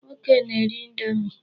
Nwoke na-eri indomi.